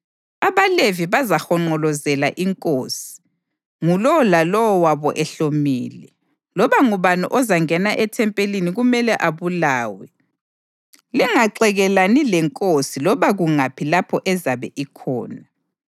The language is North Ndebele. AbaLevi bazahonqolozela inkosi, ngulowo lalowo wabo ehlomile. Loba ngubani ozangena ethempelini kumele abulawe. Lingaxekelani lenkosi loba kungaphi lapho ezabe ikhona.”